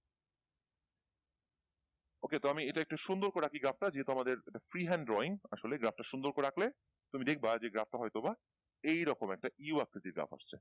okay তো আমি এটা একটা সুন্দর করে আকি গ্রাফটা যেহেতু আমাদের free hand drawing আসলে গ্রাফটা সুন্দর করে আঁকলে তুমি দেখবা যে গ্রাফটা হয়তো বা এইরকম একটা U আকৃতির গ্রাফ